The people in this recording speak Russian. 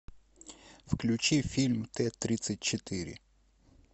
включи фильм т тридцать четыре